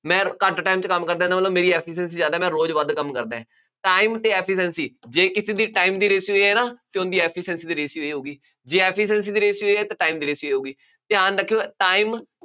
ਮੈਂ ਘੱਟ time ਚ ਕੰਮ ਕਰਦਾ, ਇਹਦਾ ਮਤਲਬ ਮੇਰੀ efficiency ਜ਼ਿਆਦਾ, ਮੈਂ ਰੋਜ਼ ਵੱਧ ਕੰਮ ਕਰਦਾ, time ਅਤੇ efficiency ਜੇ ਕਿਸੇ ਦੀ time ਦੀ ratio ਹੈ ਨਾ ਅਤੇ ਉਹਦੀ efficiency ਦੀ ratio ਇਹ ਹੋਊਗੀ, ਜੇ efficiency ਦੀ ratio ਇਹ ਹੈ ਤਾਂ time ਦੀ ratio ਇਹ ਹੋਊਗੀ, ਧਿਆਨ ਰੱਖਿਉ, time